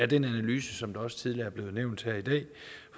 den analyse som også tidligere er blevet nævnt her i dag